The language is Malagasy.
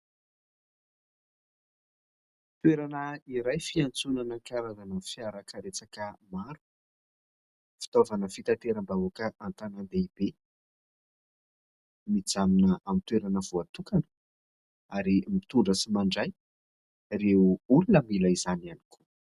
Toerana iray fiantsonana karazana fiarakaretsaka maro. Fitaovana fitateram-bahoaka an-tanàn-dehibe mijanona amin'ny toerana voatokana ary mitondra sy mandray ireo olona mila izany ihany koa.